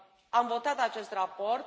Am votat acest raport.